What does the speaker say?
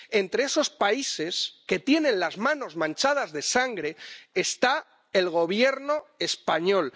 Entre los Gobiernos que tienen las manos manchadas de sangre está el Gobierno español.